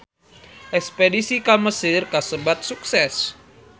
Espedisi ka Mesir kasebat sukses